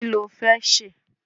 Kí lo fẹ́ ṣe?